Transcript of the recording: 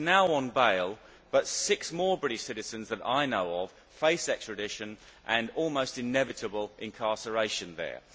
He is now on bail, but six more British citizens that I know of face extradition and almost inevitable incarceration there.